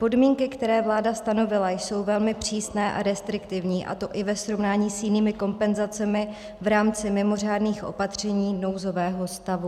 Podmínky, které vláda stanovila, jsou velmi přísné a restriktivní, a to i ve srovnání s jinými kompenzacemi v rámci mimořádných opatření nouzového stavu.